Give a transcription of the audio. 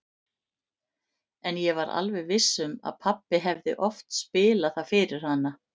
En ég var alveg viss um að pabbi hefði oft spilað það fyrir hana.